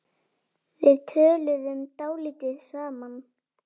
Við töluðum dálítið saman.